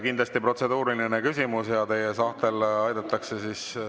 Kindlasti protseduuriline küsimus ja teid aidatakse ...